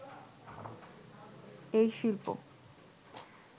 এই শিল্প